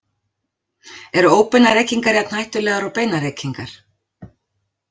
Eru óbeinar reykingar jafn hættulegar og beinar reykingar?